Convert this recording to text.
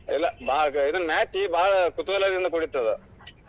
ಇಲ್ಲ್ ಬಾಳ್ match ಬಾಳ ಕುತೂಹಲದಿಂದ ಕೂಡಿರ್ತದ್.